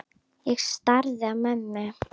Ég starði á mömmu.